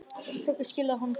Höggið skilaði honum fugli.